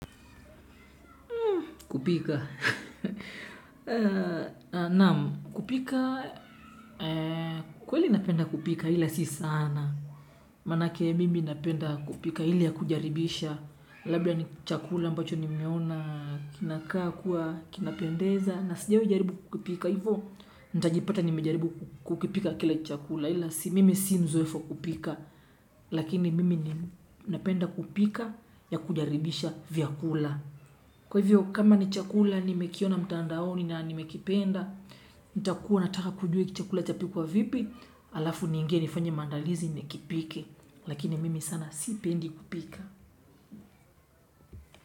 Kupika. Naam, kupika, kweli napenda kupika ila si sana. Manake mimi napenda kupika ile ya kujaribisha. Labda ni chakula ambacho ni meona kinakaa kuwa kinapendeza. Na sijawahi jaribu kukipika hivo, ntajipata ni mejaribu kukipika kila chakula hili ya si mimi si mzoefo wa kupika. Lakini mimi napenda kupika ya kujaribisha vyakula. Kwa hivyo kama ni chakula ni mekiona mtandaoni na ni mekipenda, nita kuwa nataka kujua hiki chakula chapikwa vipi, alafu ningie nifanya mandalizi ni kipike, lakini mimi sana si pendi kupika.